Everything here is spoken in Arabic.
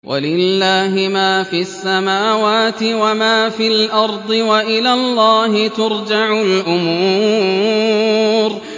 وَلِلَّهِ مَا فِي السَّمَاوَاتِ وَمَا فِي الْأَرْضِ ۚ وَإِلَى اللَّهِ تُرْجَعُ الْأُمُورُ